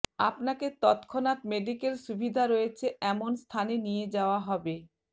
আপনাকে তৎক্ষণাৎ মেডিক্যাল সুবিধা রয়েছে এমন স্থানে নিয়ে যাওয়া হবে